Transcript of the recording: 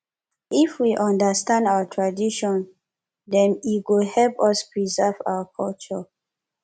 if we understand our tradition dem e go help us preserve our culture